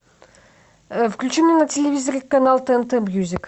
включи мне на телевизоре канал тнт мьюзик